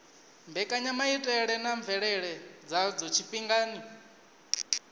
mbekanyamaitele na mvelele dzadzo tshifhingani